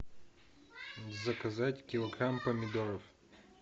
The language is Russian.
заказать килограмм помидоров